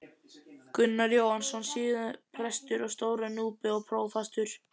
Gunnar Jóhannesson, síðar prestur á Stóra-Núpi og prófastur.